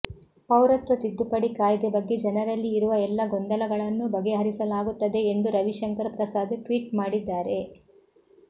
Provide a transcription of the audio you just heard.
ಪೌರತ್ವ ತಿದ್ದುಪಡಿ ಕಾಯ್ದೆ ಬಗ್ಗೆ ಜನರಲ್ಲಿ ಇರುವ ಎಲ್ಲ ಗೊಂದಲಗಳನ್ನು ಬಗೆಹರಿಸಲಾಗುತ್ತದೆ ಎಂದು ರವಿಶಂಕರ್ ಪ್ರಸಾದ್ ಟ್ವೀಟ್ ಮಾಡಿದ್ದಾರೆ